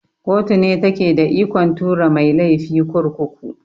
Koto ne take da ikon tura mai laifi kurkuku.